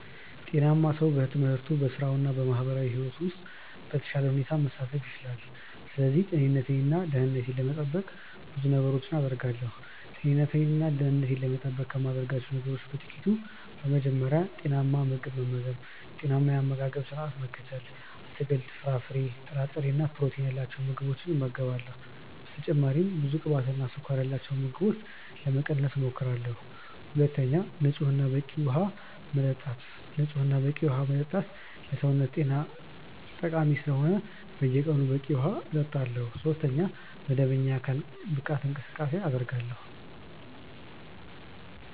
ጤናማ ሰው በትምህርቱ፣ በሥራው እና በማህበራዊ ሕይወቱ ውስጥ በተሻለ ሁኔታ መሳተፍ ይችላል። ስለዚህ ጤንነቴን እና ደህንነቴን ለመጠበቅ ብዙ ነገሮችን አደርጋለሁ። ጤንነቴን እና ደህንነቴን ለመጠበቅ ከማደርጋቸው ነገሮች በ ጥቅቱ፦ በመጀመሪያ, ጤናማ ምግብ መመገብ(ጤናማ የ አመጋገባ ስረዓት መከተል ):- አትክልት፣ ፍራፍሬ፣ ጥራጥሬ እና ፕሮቲን ያላቸው ምግቦችን እመገባለሁ። በተጨማሪም ብዙ ቅባትና ስኳር ያላቸውን ምግቦች ለመቀነስ እሞክራለሁ። ሁለተኛ, ንጹህ እና በቂ ውሃ መጠጣት። ንጹህ እና በቂ ዉሃ መጠጣትም ለሰውነት ጤና ጠቃሚ ስለሆነ በየቀኑ በቂ ውሃ እጠጣለሁ። ሶስተኛ, መደበኛ የአካል ብቃት እንቅስቃሴ አደርጋለሁ።